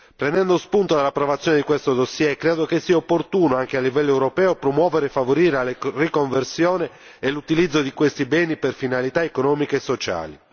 Prendendo spunto dall'approvazione di questo dossier, credo che sia opportuno anche a livello europeo promuovere e favorire la riconversione e l'utilizzo di questi beni per finalità economiche e sociali.